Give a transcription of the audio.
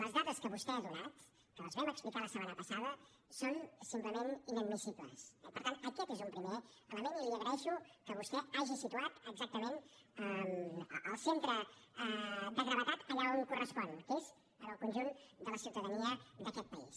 les dades que vostè ha donat que les vam explicar la setmana passada són simplement inadmissibles eh per tant aquest és un primer element i li agraeixo que vostè hagi situat exactament el centre de gravetat allà on correspon que és en el conjunt de la ciutadania d’aquest país